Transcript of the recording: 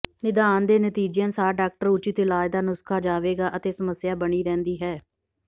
ਨਿਦਾਨ ਦੇ ਨਤੀਜੇ ਅਨੁਸਾਰ ਡਾਕਟਰ ਉਚਿਤ ਇਲਾਜ ਦਾ ਨੁਸਖ਼ਾ ਜਾਵੇਗਾ ਅਤੇ ਸਮੱਸਿਆ ਬਣੀ ਰਹਿੰਦੀ ਹੈ